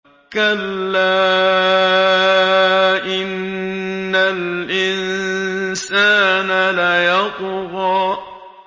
كَلَّا إِنَّ الْإِنسَانَ لَيَطْغَىٰ